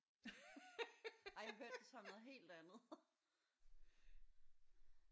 Ej jeg hørte det som noget helt andet